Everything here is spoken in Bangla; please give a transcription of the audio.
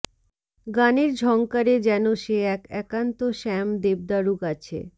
গানের ঝংকারে যেন সে এক একান্ত শ্যাম দেবদারু গাছে